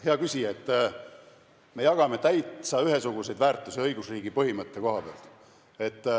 Hea küsija, me jagame täitsa ühesuguseid väärtusi õigusriigi põhimõtte koha pealt.